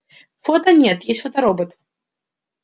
фото нет есть фоторобот